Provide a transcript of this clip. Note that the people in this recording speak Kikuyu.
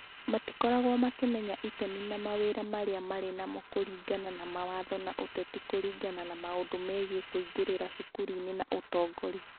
Matikoragwo makĩmenya itemi na mawĩra marĩa marĩ namo kũringana na mawatho ma ũteti kũringana na maũndũ megiĩ kwĩingĩria cukuru-inĩ na ũtongoria.